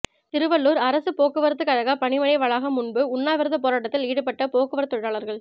திருவள்ளூா் அரசுப் போக்குவரத்துக் கழக பணிமனை வளாகம் முன்பு உண்ணாவிரதப் போராட்டத்தில் ஈடுபட்ட போக்குவரத்து தொழிலாளா்கள்